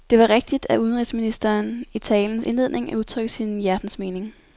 Det var rigtigt af udenrigsministeren i talens indledning at udtrykke sin hjertens mening.